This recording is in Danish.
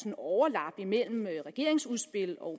er overlap mellem regeringens udspil og